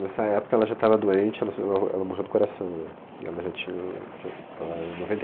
Nessa época ela já estava doente, ela sofreu a, ela morreu do coração. E ela já tinha o que era em noventa e